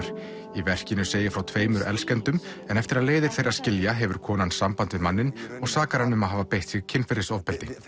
í verkinu segir frá tveimur elskendum en eftir að leiðir þeirra skilja hefur konan samband við manninn og sakar hann um að hafa beitt sig kynferðisofbeldi